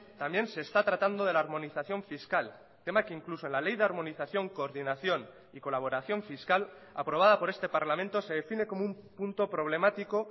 también se está tratando de la armonización fiscal tema que incluso en la ley de armonización coordinación y colaboración fiscal aprobada por este parlamento se define como un punto problemático